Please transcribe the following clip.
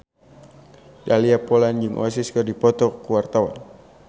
Dahlia Poland jeung Oasis keur dipoto ku wartawan